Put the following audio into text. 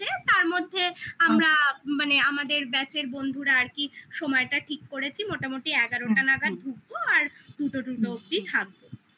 তার মধ্যে আমরা মানে আমাদের batch এর বন্ধুরা আর কি সময়টা ঠিক করেছি মোটামুটি এগারোটা নাগাদ ঢুকবো আর দুটো টুডো অব্দি থাকবো